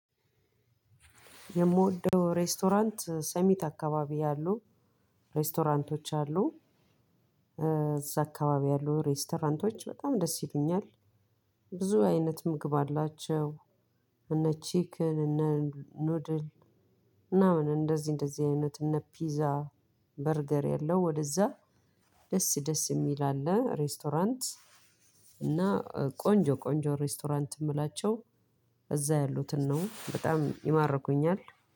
የምወደው ሬስቶራንት ሰሚት አካባቢ ያሉ ሬስቶራንቶች አሉ እዛ አካባቢ ያሉ ሬስቶራንቶች በጣም ደስ ይሉኛል። ብዙ አይነት ምግብ አላቸው። እነ ቺክን እነ ኑድል ምናምን እንደዚህ እንደዚህ አይነት እነ ፒዛ በርገር ያለው ወደዛ። ደስ ደስ ሚል አለ ሬስቶራንት። እና ቆንጆ ቆንጆ ሬስቶራንት ምላቸው። እዛ ያሉትን ነው በጣም ይማርኩኛል።